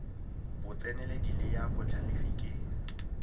botseneledi le ya botlhalefi ke